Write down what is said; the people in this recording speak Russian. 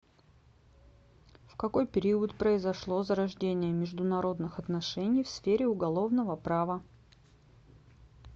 в какой период произошло зарождение международных отношений в сфере уголовного права